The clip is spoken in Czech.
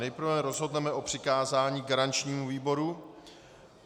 Nejprve rozhodneme o přikázání garančnímu výboru.